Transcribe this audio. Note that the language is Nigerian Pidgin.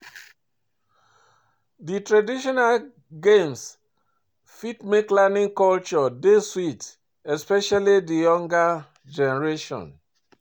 Di traditional games fit make learning culture dey sweet especially di younger generation